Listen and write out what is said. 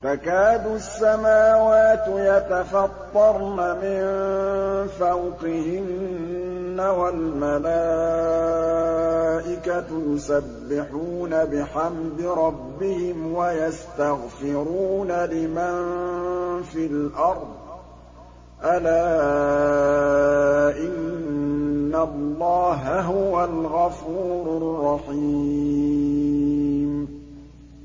تَكَادُ السَّمَاوَاتُ يَتَفَطَّرْنَ مِن فَوْقِهِنَّ ۚ وَالْمَلَائِكَةُ يُسَبِّحُونَ بِحَمْدِ رَبِّهِمْ وَيَسْتَغْفِرُونَ لِمَن فِي الْأَرْضِ ۗ أَلَا إِنَّ اللَّهَ هُوَ الْغَفُورُ الرَّحِيمُ